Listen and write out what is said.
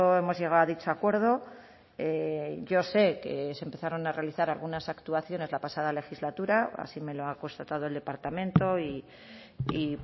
hemos llegado a dicho acuerdo yo sé que se empezaron a realizar algunas actuaciones la pasada legislatura así me lo ha constatado el departamento y